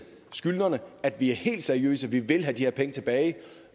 skyldnerne at vi er helt seriøse og at vi vil have de her penge tilbage